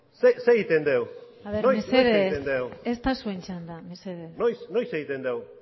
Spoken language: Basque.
zer egiten dugu noiz egiten dugu mesedez ez da zuen txanda mesedez noiz egiten dugu